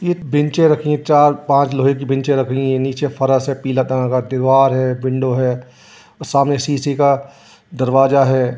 ये एक बेंचें रखी हैं। चार-पांच लोहे की बेंचें रखली हैं। नीचे फरस है पीला कलर का। दीवार है। विंडो है और सामने शीशे का दरवाजा है।